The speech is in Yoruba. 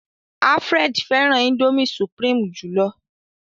Alfred féràn indomie supreme jùlọ